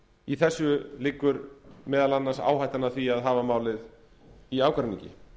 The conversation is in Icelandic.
í þessu liggur meðal annars áhættan að hafa málið í ágreiningi